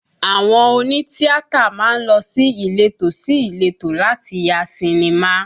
Àwọn òní tíátà má ń lọ ní ìletò sí ìletò láti ya sinimá